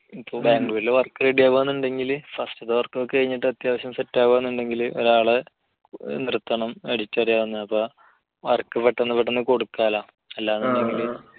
ഇപ്പോ ബാംഗ്ലൂരിലെ work ready ആവുകയാണെന്നുണ്ടെങ്കിൽ first ലത്തെ work ഒക്കെ കഴിഞ്ഞിട്ട് അത്യാവശ്യം set ആവുകയാണെന്നുണ്ടെങ്കിൽ ഒരാളെ നിർത്തണം edit അറിയാവുന്നത്. അപ്പോൾ work പെട്ടെന്ന് പെട്ടന്ന് കൊടുക്കാലോ. അല്ല എന്നുണ്ടെങ്കിൽ